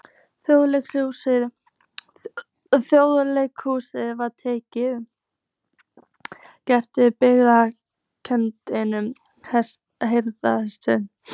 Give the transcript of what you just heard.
Þjóðleikhúsið var tekið og gert að birgðaskemmu hersins.